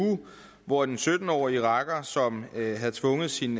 uge hvor en sytten årig iraker som havde tvunget sin